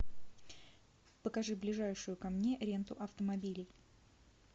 покажи ближайшую ко мне ренту автомобилей